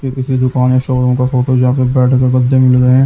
किसी दुकान या शौरूम का फोटो जहां पे बेड के गद्दे मिल रहे हैं।